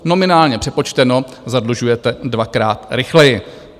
Nominálně přepočteno - zadlužujete dvakrát rychleji.